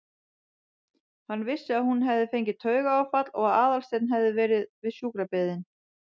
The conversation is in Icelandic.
Hann vissi að hún hafði fengið taugaáfall og að Aðalsteinn hafði verið við sjúkrabeðinn.